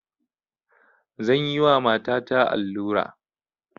Zan yi wa matata allura